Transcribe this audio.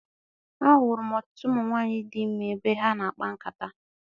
A hụrụ m ọtụtụ ụmụ nwaanyị di ime ebe ha na-akpa nkata.